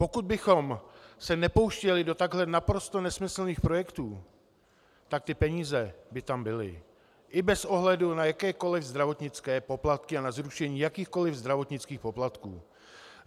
Pokud bychom se nepouštěli do takhle naprosto nesmyslných projektů, tak ty peníze by tam byly, i bez ohledu na jakékoliv zdravotnické poplatky a na zrušení jakýchkoliv zdravotnických poplatků.